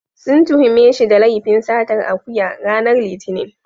Sun tuhume shi da laifin satar akuya, ranar Litinin.